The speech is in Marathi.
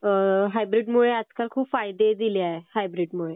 हायब्रीडमुळे आजकाल खूप फायदे झाले आहेत, हायब्रीड मुळे